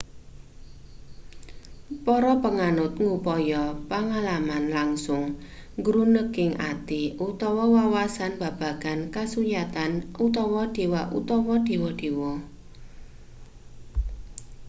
para panganut ngupaya pangalaman langsung gruneking ati utawa wawasan babagan kasunyatan/dewa utawa dewa-dewa